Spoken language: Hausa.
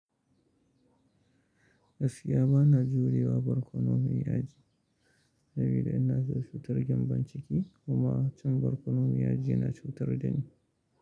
Gaskiya ba na jurewa barkono mai yaji, saboda inada cutar gembon ciki kuma cin barkonomai yaji na cutar da ni.